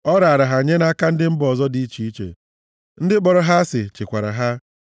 Ọ raara ha nye nʼaka ndị mba ọzọ dị iche iche, ndị kpọrọ ha asị chịkwara ha.